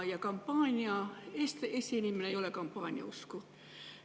Ja kampaaniad – Eesti inimene ei ole kampaaniausku.